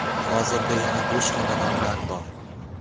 Hozirda yana bo‘sh xonadonlar bor.